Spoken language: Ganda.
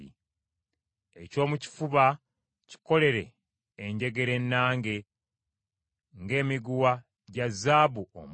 “Ekyomukifuba kikolere enjegere ennange ng’emiguwa gya zaabu omuka.